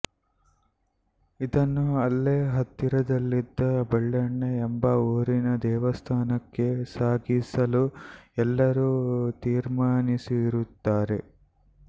ಇದನ್ನು ಅಲ್ಲೇ ಹತ್ತಿರದಲ್ಲಿದ್ದ ಬೆಳ್ಳೆಣ್ಣೆ ಎಂಬ ಊರಿನ ದೇವಸ್ಥಾನಕ್ಕೆ ಸಾಗಿಸಲು ಎಲ್ಲರೂ ತೀರ್ಮಾನಿಸಿರುತ್ತಾರೆ